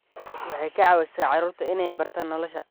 Waxay ka caawisaa carruurta inay bartaan nolosha.